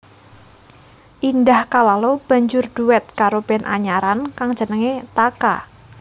Indah Kalalo banjur dhuet karo band anyaran kang jenengé Taka